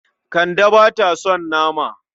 Kande ba ta son nama.